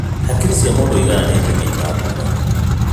Hakiri cia mũndũ igayanĩtio maita ngũrani.